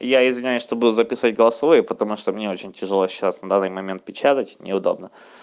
я не знаю чтобы записать голосовое потому что мне очень тяжело сейчас на данный момент печатать неудобно